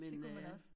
Det kunne man også